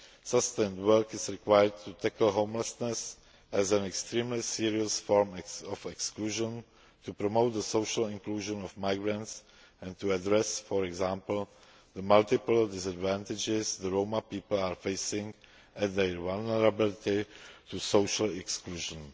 Sustained work is required to tackle homelessness as an extremely serious form of exclusion, to promote the social inclusion of migrants and to address, for example, the multiple disadvantages the Roma people are facing and their vulnerability to social exclusion.